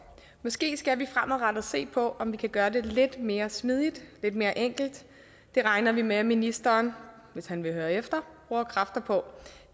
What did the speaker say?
måske skal vi fremadrettet se på om vi kan gøre det lidt mere smidigt lidt mere enkelt det regner vi med at ministeren hvis han vil høre efter bruger kræfter på